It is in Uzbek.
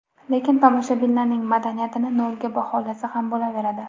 Lekin tomoshabinlarning madaniyatini nolga baholasa ham bo‘laveradi.